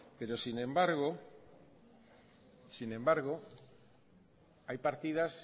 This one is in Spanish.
pero sin embargo hay partidas